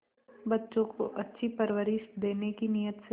बच्चों को अच्छी परवरिश देने की नीयत से